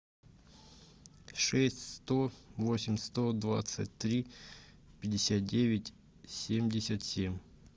шесть сто восемь сто двадцать три пятьдесят девять семьдесят семь